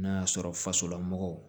N'a y'a sɔrɔ fasolamɔgɔw